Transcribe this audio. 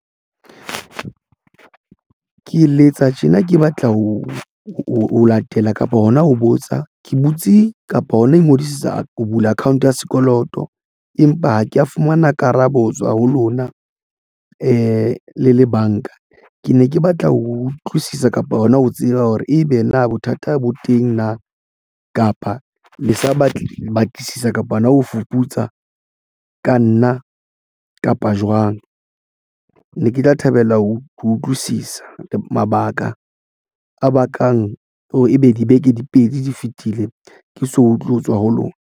Ke letsa tjena ke batla ho o latela kapa hona ho botsa ke butse kapa hona I ngodisetsa ho bula akhaonte ya sekoloto, empa ha ke ya fumana karabo hotswa ho lona le le banka. Ke ne ke batla ho utlwisisa kapa hona ho tseba hore ebe na bothata bo teng na kapa le sa batle batlisisa kapa hona ho fuputsa ka nna kapa jwang. Ne ke tla thabela ho utlwisisa mabaka a bakang hore ebe dibeke di pedi di fetile ke so utlwe ho tswa ho lona.